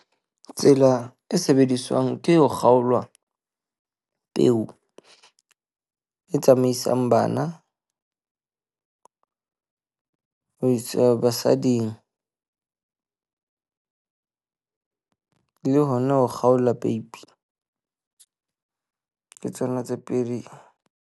Tsela e sebediswang ke ho kgaolwa peo e tsamaisang bana ho isa basading le hona ho kgaola peipi, ke tsona tse pedi.